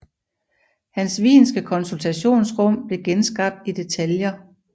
Hans wienske konsultationsrum blev genskabt i detaljer